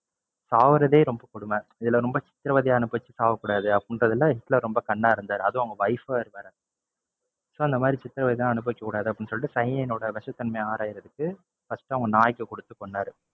சாகுறதே ரொம்ப கொடுமை, இதுல ரொம்ப சித்ரவதைய அனுபவிச்சு சாகக்கூடாது அப்படிங்கிறதுல ஹிட்லர் ரொம்ப கண்ணா இருந்தாரு. அதும் அவங்க wife வேற அந்தமாதிரி சித்ரவதைய எல்லாம் அனுபவிக்க கூடாது அப்படின்னு சொல்லிட்டு cyanide ஓட விஷத்தன்மைய ஆராயறதுக்கு first அவங்க நாய்க்கு குடுத்து கொன்னாரு.